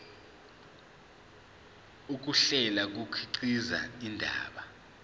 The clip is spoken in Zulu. ukuhlela kukhiqiza indaba